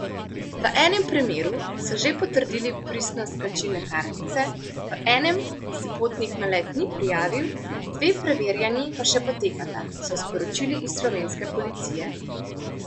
V enem primeru so že potrdili pristnost plačilne kartice, v enem se potnik na let ni prijavil, dve preverjanji pa še potekata, so sporočili iz slovenske policije.